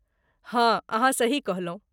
हँ, अहाँ सही कहलहुँ!